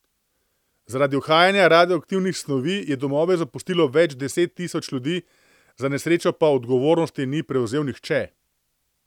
Zaradi uhajanja radioaktivnih snovi je domove zapustilo več deset tisoč ljudi, za nesrečo pa odgovornosti ni prevzel nihče.